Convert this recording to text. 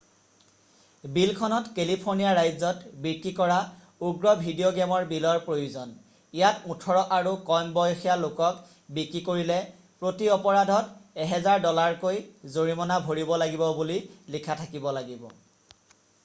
"বিলখনত কেলিফৰ্ণিয়া ৰাজ্যত বিক্ৰী কৰা উগ্ৰ ভিডিঅ' গেমৰ বিলৰ প্ৰয়োজন ইয়াত "18" আৰু কম বয়সীয়া লোকক বিক্ৰী কৰিলে প্ৰতি অপৰাধত $1000 কৈ জৰিমনা ভৰিব লাগিব বুলি লিখা থাকিব লাগিব। "